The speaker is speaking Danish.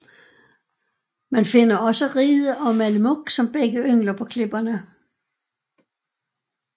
Man finder også Ride og mallemuk som begge yngler på klipperne